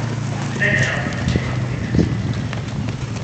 Mĩthenya ya mbura nĩ mĩega kũrĩ thenema cia mũciĩ.